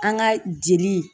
An ka jeli.